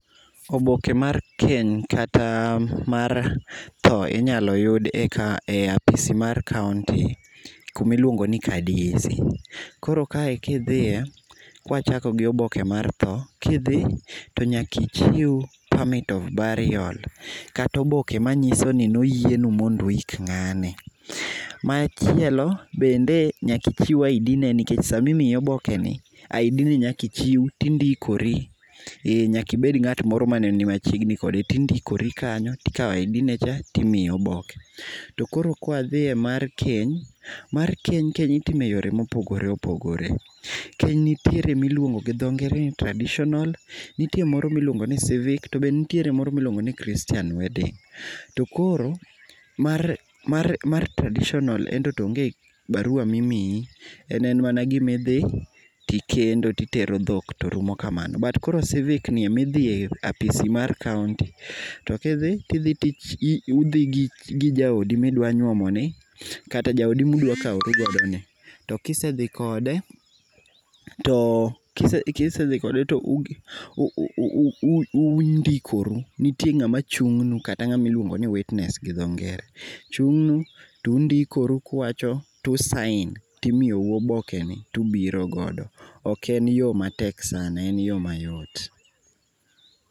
Oboke mar keny kata mar tho inyalo yud eka, e apisi mar kaunti kama iluongo ni ka DC, koro kae kidhiye, kawachako gi oboke mar tho, kidhi tonyaka ichiw permit of burial, kata oboke manyisoni noyienu mondo ouk ngani. Machielo bende nyaka ichiw ID ne nikech sama imiyo oboke ni ID ni nyaka ichiw tindikori, eeh ,nyaka ngat moro mane ni machiegni kode, tindikore kanyo tikao ID ne cha timiyi oboke. Toko ro ka wadhiye mar keny, mar keny itimo e yore ma opogore opogore. Keny itimoe yore ma opogore opogore, keny nitiere miluongo gi dho ngere ni traditional, nitie moro miluongo ni [sc]civic tobe itie moro miluongo ni christian wedding, to koro mar, mar traditional ento to onge barua mimiyi en en mana gimi idhi tikendo titero dhok torumo kamano. To koro civic ni idhiye apisi mar kaunti, to kidhi ,tidhi ,udhi gi jaodi midwa nyuomo ni kata jaodi mudwa kaoru godo ni, to kisedhi kode, kisedhi kode to undikoru, nitie ngama chung'nu kata ngama iluongo ni witness gi dho ngere, chungnu tundikoru kuwacho to u sign to imiyou oboke ni tubiro godo, oken yoo matek sana, en yoo mayot.